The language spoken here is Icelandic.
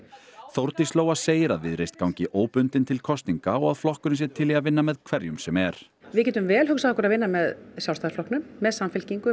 Þórdís Lóa segir að Viðreisn gangi óbundin til kosninga og að flokkurinn sé til í að vinna með hverjum sem er við getum vel hugsað okkur að vinna með Sjálfstæðisflokknum með Samfylkingu